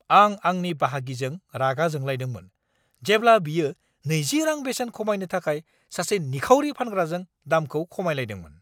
आं आंनि बाहागिजों रागा जोंलाइदोंमोन जेब्ला बियो 20 रां बेसेन खमायनो थाखाय सासे निखावरि फानग्राजों दामखौ खमायलायदोंमोन।